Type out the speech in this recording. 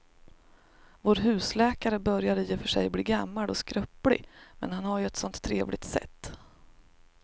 Vår husläkare börjar i och för sig bli gammal och skröplig, men han har ju ett sådant trevligt sätt!